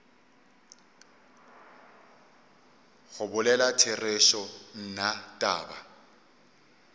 go bolela therešo nna taba